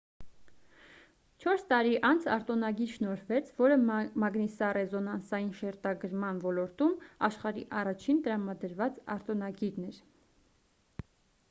չորս տարի անց արտոնագիր շնորհվեց որը մագնիսառեզոնանսային շերտագրման ոլորտում աշխարհի առաջին տրամադրված արտոնագիրն էր